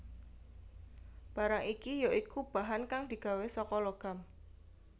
Barang iki ya iku bahan kang digawé saka logam